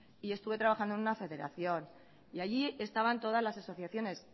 y estuve trabajando en una federación y allí estaban todas las asociaciones